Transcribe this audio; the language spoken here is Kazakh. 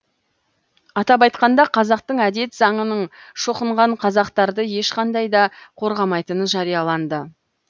атап айтқанда қазақтың әдет заңының шоқынған қазақтарды ешқандай да қорғамайтыны жарияланды